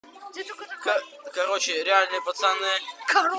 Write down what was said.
короче реальные пацаны